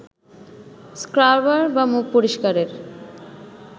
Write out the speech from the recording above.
scrubber বা মুখ পরিষ্কারের